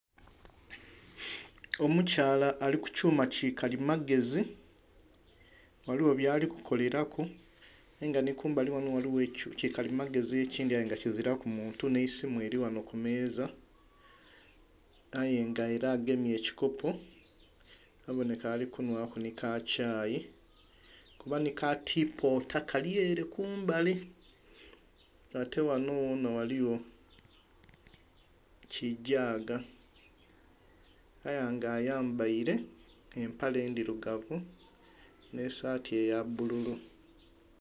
Omukyala ali kyuma kikalimagezi ghaligho byalikukaleraku era nga ghanho ghaligho ekyuma kikalimagezi ekindhi ayenga kiziraku muntu nh'esimu eri ghanho kumeza aye nga era agemye ekikopo abonheka alikunhwa kukakyayi, kuba nhi katipota kalyere kumbali ate ghanho ghonha ghaligho kigyaaga aye nga ayambeile embere endhirugavu nhi saati eya bbululu.